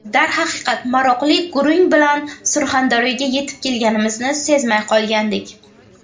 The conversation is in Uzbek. Darhaqiqat, maroqli gurung bilan Surxondaryoga yetib kelganimizni sezmay qolgandik.